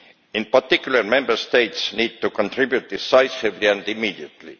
In particular, Member States need to contribute decisively and immediately.